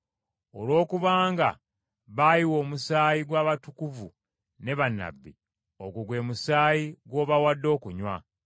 Olw’okubanga baayiwa omusaayi gw’abatukuvu ne bannabbi, ogwo gwe musaayi gw’obawadde okunywa.”